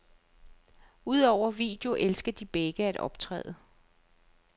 Udover video elsker de begge at optræde.